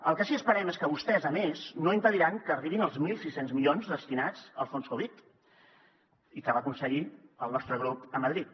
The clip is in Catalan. el que sí que esperem és que vostès a més no impediran que arribin els mil sis cents milions destinats al fons covid i que va aconseguir el nostre grup a madrid